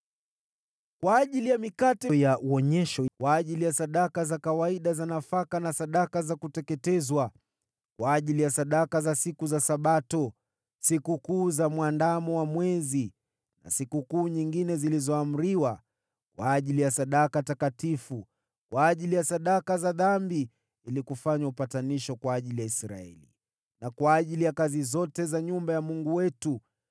Kwa ajili ya mikate ya Wonyesho, kwa ajili ya sadaka za kawaida za nafaka na sadaka za kuteketezwa, kwa ajili ya sadaka za siku za Sabato, Sikukuu za Mwandamo wa Mwezi na sikukuu nyingine zilizoamriwa, kwa ajili ya sadaka takatifu, kwa ajili ya sadaka za dhambi ili kufanya upatanisho kwa ajili ya Israeli, na kwa ajili ya kazi zote za nyumba ya Mungu wetu.